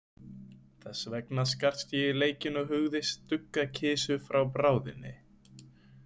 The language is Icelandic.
Þess vegna skarst ég í leikinn og hugðist stugga kisu frá bráðinni.